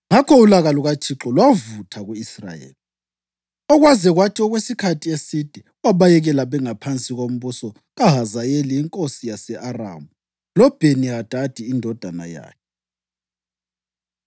Ngakho ulaka lukaThixo lwavutha ku-Israyeli, okwaze kwathi okwesikhathi eside wabayekela bengaphansi kombuso kaHazayeli inkosi yase-Aramu loBheni-Hadadi indodana yakhe.